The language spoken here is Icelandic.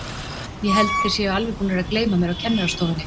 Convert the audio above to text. Ég held þeir séu alveg búnir að gleyma mér á kennarastofunni.